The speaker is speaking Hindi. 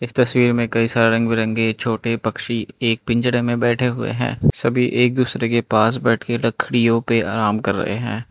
तस्वीर में कई सारे रंग बिरंगे छोटे पक्षी एक पिंजरे में बैठे हुए हैं सभी एक दूसरे के पास बैठ के लकड़ियों पे आराम कर रहे हैं।